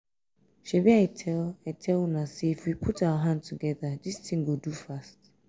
shebi i tell i tell una say if we put our hand together dis thing go do fast